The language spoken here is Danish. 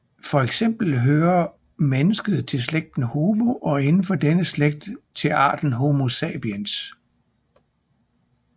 For eksempel hører mennesket til slægten Homo og inden for denne slægt til arten Homo sapiens